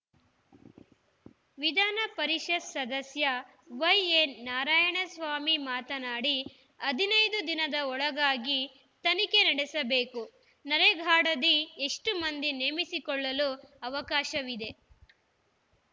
ವಿಧಾನಪರಿಷತ್‌ ಸದಸ್ಯ ವೈಎನಾರಾಯಣಸ್ವಾಮಿ ಮಾತನಾಡಿ ಹದಿನೈದು ದಿನದ ಒಳಗಾಗಿ ತನಿಖೆ ನಡೆಸಬೇಕು ನರೇಗಾದಡಿ ಎಷ್ಟುಮಂದಿ ನೇಮಿಸಿಕೊಳ್ಳಲು ಅವಕಾಶವಿದೆ